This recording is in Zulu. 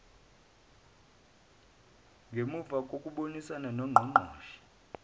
ngemuva kokubonisana nongqongqoshe